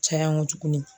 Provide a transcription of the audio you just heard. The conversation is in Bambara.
Caya n ko tuguni